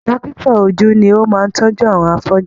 Dókítà ojú ni o máa n tọjú àwọn afọju.